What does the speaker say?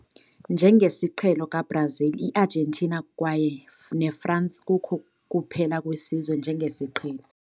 Njengesiqhelo ka-Brazil, i-Argentina kwaye France kukho kuphela wesizwe njengesiqhelo